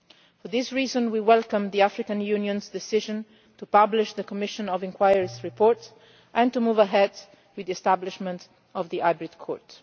For this reason we welcomed the African Union's decision to publish the Commission of Inquiry's report and to move ahead with the establishment of the court.